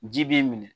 Ji b'i minɛ